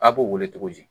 A b'o wele cogo di